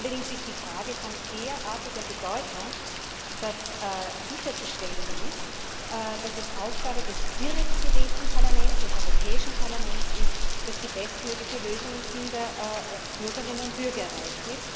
Allerdings ist die Frage von derartiger Bedeutung, dass sicherzustellen ist, dass es Aufgabe des direkt gewählten Parlaments, des Europäischen Parlaments ist, die bestmögliche Lösung im Sinn der Bürgerinnen und Bürger zu erreichen.